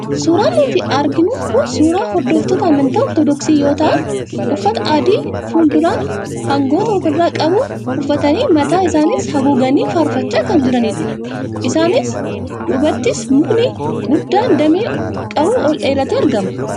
Suuraan nutti argamu kun suuraa hordoftoota amantaa Ortodoksii yoo ta'an, uffata adii, fuul-duraan hangatoo ofirraa qabu uffatanii mataa isaaniis haguuganii faarfachaa kan jiranidha. Isaaniin duubattis mukni guddaan damee qabu ol dheeratee argama.